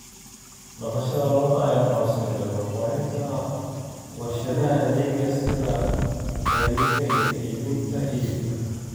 Dhaqashada lo'da lo'da ayaa horseeday horumarinta warshadaha adeegga sida gaadiidka iyo iibinta hilibka.